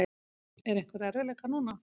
Eru einhverjir erfiðleikar núna?